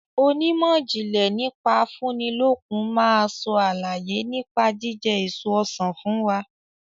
Onímọ̀jìnlẹ̀ nípa afúnilókun máa sọ àlàyé nípa jíjẹ èso Ọsàn fún wa.